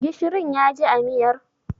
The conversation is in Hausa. Gishirin ya ji a miyar?